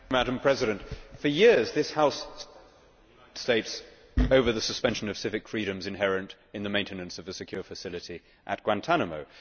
Madam President, for years this House has criticised the United States over the suspension of civic freedoms inherent in the maintenance of the secure facility at Guantánamo.